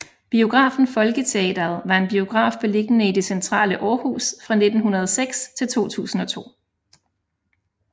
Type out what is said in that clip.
Biografen Folketeatret var en biograf beliggende i det centrale Aarhus fra 1906 til 2002